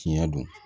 Tiɲɛ don